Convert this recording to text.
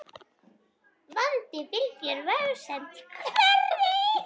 Vandi fylgir vegsemd hverri.